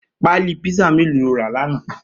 Pàlí pizza méló ló rà làná?